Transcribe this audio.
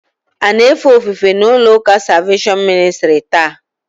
Ị na-efe ofufe n'ụlọụka Salveshọn Ministrị taa?